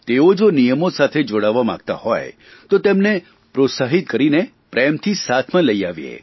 તેઓ જો નિયમો સાથે જોડાવા માગતા હોય તો તેમને પ્રોત્સાહિક કરીને પ્રેમથી સાથમાં લઇ આવીએ